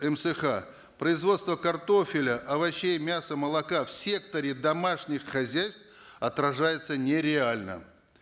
мсх производство картофеля овощей мяса молока в секторе домашних хозяйств отражается не реально